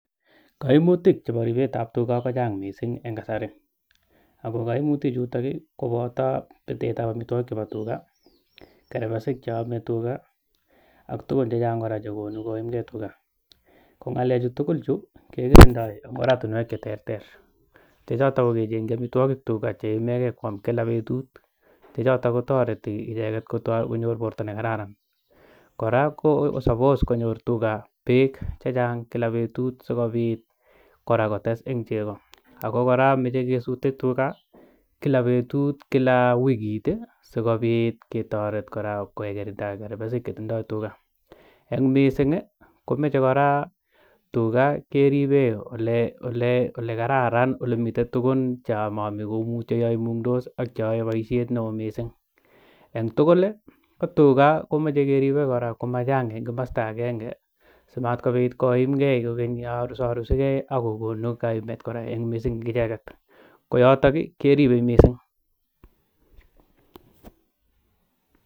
Kaimutik chebo ribetab tuga kochang' mising' eng' kasari ako kaimutichuto koboto betetab amitwokik chebo tuga ak kerbesik cheomei tuga ak tukun chechang' kora chekonu koimgei tuga ko ng'alechu tugul chu kekirindoi eng' oratinwek cheterter chechoto ko kecheng'chi omitwokik tuga cheinegei kwam eng' kila betut che choto kotoreti icheget kotoi konyor borto nekararan kora kosapos konyor tuga beek chechang' kila betut sikobit kora kotes eng' chego ako kora amoche kesutei tuga kila wikit sikobit ketoret kora kekerta kerbesik chetindoi tuga eng' mising' komachei kora tuga keribe ole kararan ole mitei tugun cheomaomi kou cheimung'tos ak cheyoei boishet neo mising' eng' tugul ko tuga komachei keribei kora komachang' eng' komosta agenge simatkobit koimgei koekeny korusarusigei akokon kora kaimet mising' eng' icheget ko yoto keribei mising'